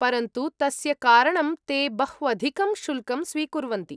परन्तु तस्य कारणं ते बह्वधिकं शुल्कं स्वीकुर्वन्ति।